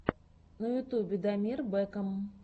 на ютубе дамир бэкам